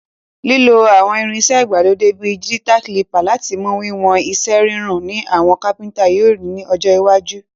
Lílo àwon irinsẹ́ ìgbàlódé bi digital caliper láti mu wiwon isẹ́ rorùn ni àwon carpenter yio ri ni ọjọ́ iwájú.